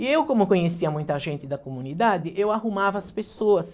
E eu, como conhecia muita gente da comunidade, eu arrumava as pessoas.